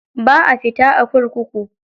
Ba a fita a kurkuku.